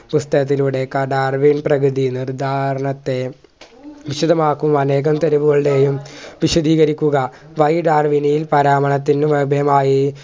പുസ്‌തകത്തിലൂടെ കഥ അറിവിൽ പ്രകൃതി നിർധാരണത്തെ വിശദമാക്കുക അനേകം തെരുവുകളുടെയും വിശദീകരിക്കുക വഴി ഡാർവിനിയിൽ പരാമാണത്തിനുവദേയമായി